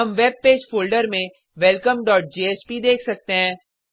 हम web page folder में welcomeजेएसपी देख सकते हैं